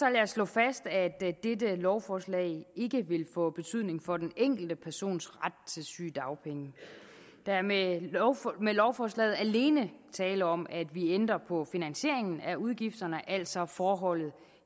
slå fast at dette lovforslag ikke vil få betydning for den enkelte persons ret til sygedagpenge der er med lovforslaget alene tale om at vi ændrer på finansieringen af udgifterne altså forholdet